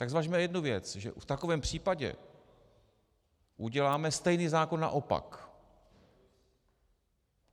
Tak zvažme jednu věc, že v takovém případě uděláme stejný zákon naopak.